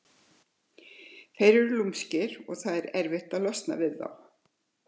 Þeir eru lúmskir og það er erfitt að losna við þá.